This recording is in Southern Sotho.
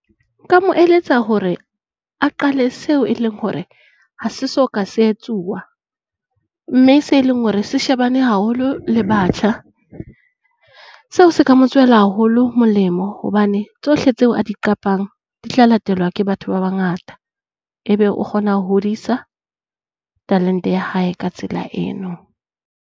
Nka mo eletsa hore a qale seo e leng hore ha se so ka se tswa, mme se leng hore se shebane haholo le batjha, seo se ka mo tswela haholo molemo hobane tsohle tseo a di qapang di tla latelwa ke batho ba bangata. Ebe o kgona ho hodisa talente ea hae ka tsela eno.